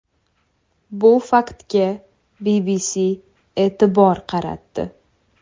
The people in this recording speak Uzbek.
Bu faktga BBC e’tibor qaratdi .